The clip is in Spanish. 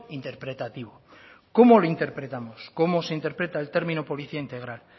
interpretativo cómo lo interpretamos cómo se interpreta el término policía integral